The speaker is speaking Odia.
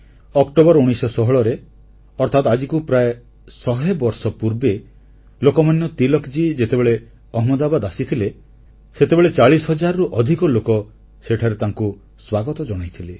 ଅକ୍ଟୋବର 1916ରେ ଅର୍ଥାତ ଆଜିକୁ ପ୍ରାୟ ଶହେ ବର୍ଷ ପୂର୍ବେ ଲୋକମାନ୍ୟ ତିଳକଜୀ ଯେତେବେଳେ ଅହମ୍ମଦାବାଦ ଆସିଥିଲେ ସେତେବେଳେ 40000 ରୁ ଅଧିକ ଲୋକ ସେଠାରେ ତାଙ୍କୁ ସ୍ୱାଗତ ଜଣାଇଥିଲେ